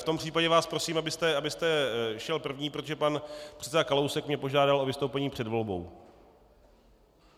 V tom případě vás prosím, abyste šel první, protože pan předseda Kalousek mě požádal o vystoupení před volbou.